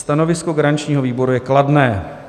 Stanovisko garančního výboru je kladné.